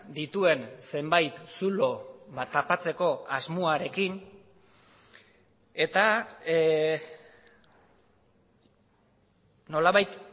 dituen zenbait zulo tapatzeko asmoarekin eta nolabait